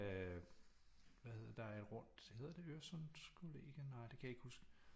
Hvad hedder det der er et rundt hedder det Øresundskollegiet nej det kan jeg ikke huske